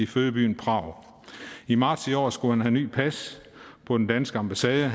fødeby prag i marts i år skulle han have nyt pas på den danske ambassade og